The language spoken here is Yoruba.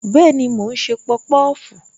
Bẹẹni, mo ń ṣe popofu.